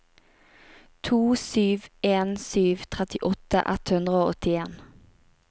to sju en sju trettiåtte ett hundre og åttien